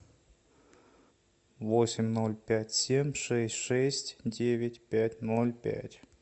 восемь ноль пять семь шесть шесть девять пять ноль пять